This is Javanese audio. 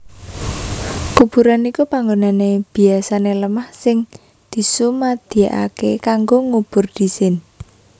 Kuburan iku panggonan biasané lemah sing disumadyakaké kanggo ngubur dhisin